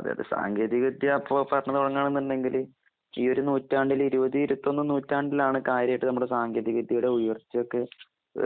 അതെയതെ. സാങ്കേതികവിദ്യ അപ്പൊ ഭരണംതുടങ്ങാണുന്നുണ്ടെങ്കില് കീയൊരുനൂറ്റാണ്ടിലിരുപത്ഇരുത്തൊന്ന്നൂറ്റാണ്ടിലാണ് കാര്യായിട്ട് നമ്മുടെസാങ്കേതികവിദ്യയുടെഉയർച്ചയൊക്കെ